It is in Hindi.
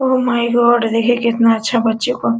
ओ माय गॉड देखिए कितना अच्छा बच्चों को --